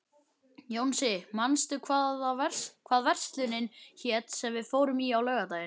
Jónsi, manstu hvað verslunin hét sem við fórum í á laugardaginn?